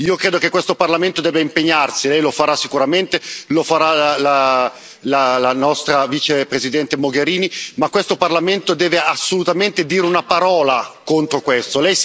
Io credo che questo Parlamento debba impegnarsi lei lo farà sicuramente e lo farà la nostra Vicepresidente Mogherini ma questo Parlamento deve assolutamente dire una parola contro questo.